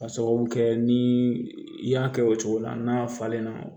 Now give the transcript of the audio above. Ka sababu kɛ ni i y'a kɛ o cogo la n'a falenna